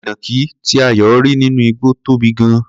Ìnàkí tí Ayọ̀ rí nínú igbó tóbi gan-an.